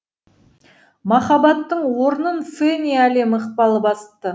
махаббаттың орнын фәни әлем ықпалы басты